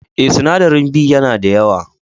Eh, sinadarin B ya na da yawa.